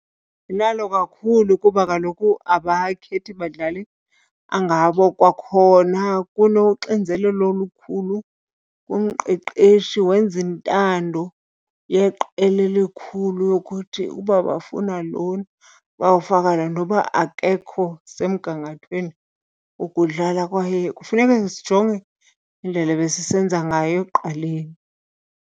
Inalo kakhulu kuba kaloku abakhethi badlali angabo. Kwakhona kunoxinzelelo olukhulu kumqeqeshi, wenza intando yeqela elikhulu yokuthi uba bafuna lona bawufaka yena noba akekho semgangathweni wokudlala. Kwaye kufuneka sijonge indlela ebesisenza ngayo ekuqaleni.